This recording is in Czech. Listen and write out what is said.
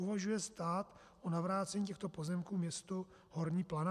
Uvažuje stát o navrácení těchto pozemků městu Horní Planá?